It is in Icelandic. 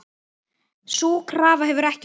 Sú krafa hefur ekki horfið.